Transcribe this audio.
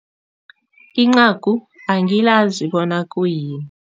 Incagu angiyazi bona khuyini.